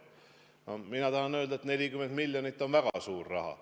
No mina tahan öelda, et 40 miljonit on väga suur raha.